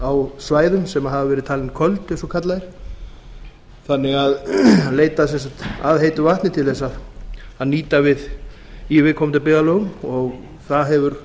á svæðum sem hafa verið talin köld eins og kallað er leita að heitu vatni til þess að nýta í viðkomandi byggðarlögum og það hefur